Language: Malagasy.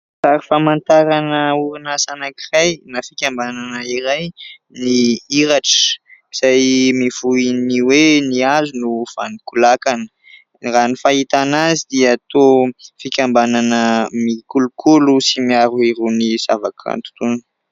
Sary famantarana orinasa anankiray na fikambanana iray ny IRATRA izay mivohy ny hoe : "Ny hazo no vanon-ko lakana". Raha ny fahitana azy dia toa fikambanana mikolokolo sy miaro irony zavakanto irony.